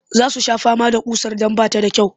Za su sha fama da ƙusar don ba ta da kyau